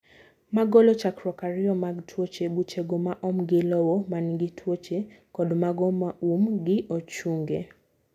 Ma golo chakruok ariyo mag tuoche: Buchego maoom gi lowo manigi tuoche kod mago moom gi ochunge.